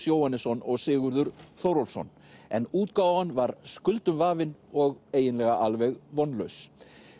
Jóhannesson og Sigurður Þórólfsson en útgáfan var skuldum vafin og eiginlega alveg vonlaus